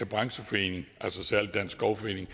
brancheforeningen og især dansk skovforening